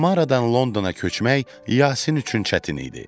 Samaradan Londona köçmək Yasin üçün çətin idi.